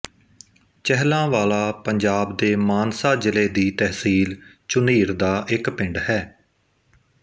ਚਹਿਲਾਂ ਵਾਲਾ ਪੰਜਾਬ ਦੇ ਮਾਨਸਾ ਜ਼ਿਲ੍ਹੇ ਦੀ ਤਹਿਸੀਲ ਝੁਨੀਰ ਦਾ ਇੱਕ ਪਿੰਡ ਹੈ